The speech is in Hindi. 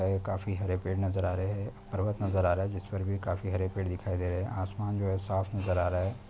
काफी हरे पेड़ नजर आ रहे है पर्वत नजर आ रहा है जिस पर भी काफी हरे पेड़ दिखाई दे रहे है आसमान जो साफ नजर आ रहा है।